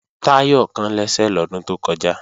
Táyọ̀ kán lẹ́sẹ̀ lọ́dún tó kọjá